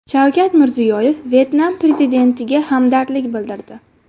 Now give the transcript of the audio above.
Shavkat Mirziyoyev Vyetnam prezidentiga hamdardlik bildirdi.